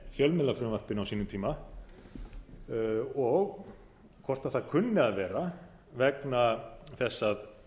fjölmiðlafrumvarpinu á sínum tíma og hvort það kunni að vera vegna þess að